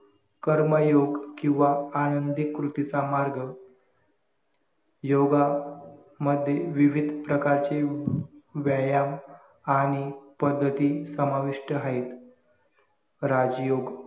कर्मयोग किंवा आनंदी कृतीचा मार्ग योगा मध्ये विविध प्रकारचे व्यायाम आणि पद्धती समाविष्ट आहेत राजयोग